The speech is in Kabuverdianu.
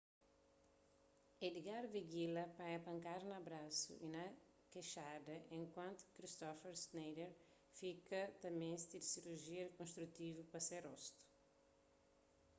edgar veguilla panha pankada na brasu y na kexada enkuantu ki kristoffer schneider fika ta meste di sirujia rikonstrutivu pa se rostu